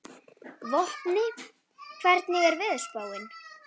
Vopni, hvernig er veðurspáin?